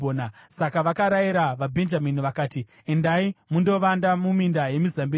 Saka vakarayira vaBhenjamini vakati, “Endai mundovanda muminda yemizambiringa